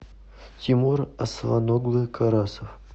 тимур асланоглы карасов